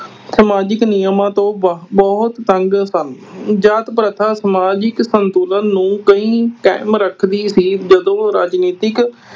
ਸਮਾਜਿਕ ਨਿਯਮਾਂ ਤੋਂ ਅਹ ਬਹੁਤ ਤੰਗ ਸਨ। ਜਾਤ ਪ੍ਰਥਾ ਸਮਾਜਿਕ ਸੰਤੂਲਨ ਨੂੰ ਕਈ ਅਹ ਕਾਇਮ ਰੱਖਦੀ ਸੀ ਜਦੋਂ ਰਾਜਨੀਤਿਕ